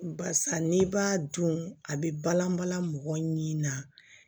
Barisa n'i b'a dun a bɛ balan balan mɔgɔ ɲini na